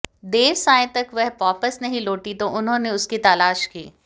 देर सांयं तक वह वापस नहीं लौटी तो उन्होंने उसकी तलाश की